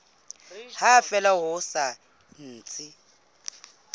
ha fela ho sa ntse